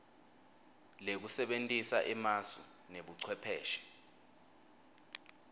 lekusebentisa emasu nebucwepheshe